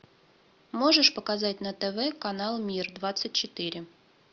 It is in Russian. можешь показать на тв канал мир двадцать четыре